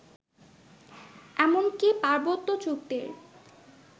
এমনকি পার্বত্য চুক্তির